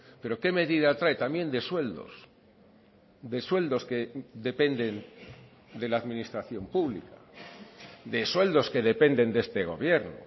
pero qué medida trae también de sueldos de sueldos que dependen de la administración pública de sueldos que dependen de este gobierno